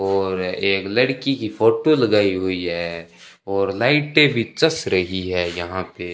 और एक लड़की की फोटो लगाई हुई है और लाइटें भी जस रही है यहां पे --